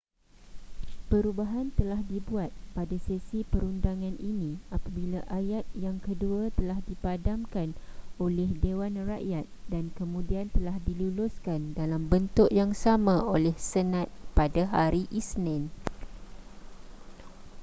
perubahan telah dibuat pada sesi perundangan ini apabila ayat yang kedua telah dipadamkan oleh dewan rakyat dan kemudian telah diluluskan dalam bentuk yang sama oleh senat pada hari isnin